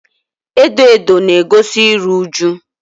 edo edo na-egosi iru uju.